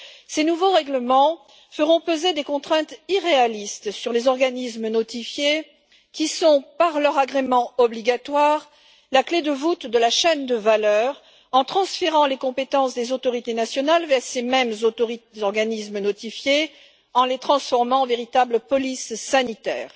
Ces nouveaux règlements feront peser des contraintes irréalistes sur les organismes notifiés qui sont, de par leur agrément obligatoire, la clé de voûte de la chaîne de valeur étant donné qu'ils transfèrent les compétences des autorités nationales vers ces mêmes organismes notifiés en les transformant en une véritable police sanitaire.